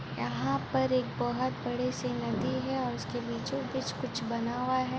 यहां पर एक बहुत बड़ी सी नदी है और उसके बीचो बीच कुछ बना हुआ है ।